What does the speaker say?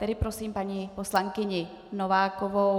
Tedy prosím paní poslankyni Novákovou.